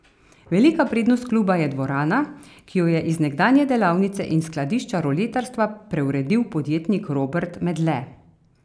Velika prednost kluba je dvorana, ki jo je iz nekdanje delavnice in skladišča roletarstva preuredil podjetnik Robert Medle.